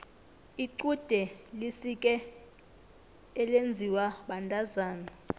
lqude lisike elinziwa bantazana